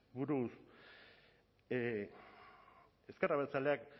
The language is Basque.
buruz ezker abertzaleak